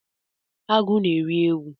Agụ na-eri ewu